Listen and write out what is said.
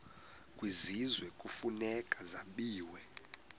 kwisizwe kufuneka zabiwe